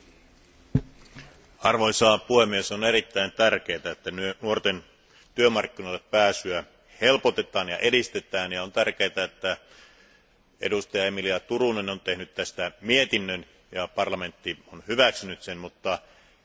Arvoisa puhemies, on erittäin tärkeää, että nuorten työmarkkinoille pääsyä helpotetaan ja edistetään, ja on tärkeää, että edustaja Emilie Turunen on tehnyt tästä mietinnön ja parlamentti on hyväksynyt sen, mutta se ei yksistään riitä.